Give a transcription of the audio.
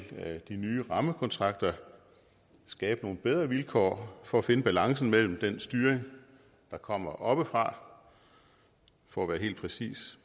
de nye rammekontrakter skabe nogle bedre vilkår for at finde balancen mellem den styring der kommer oppefra for at være helt præcis